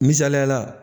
Misaliyala